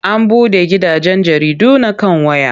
An buɗe gidajen jaridu na kan waya.